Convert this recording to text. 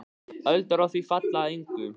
Öldur á því falla að engu.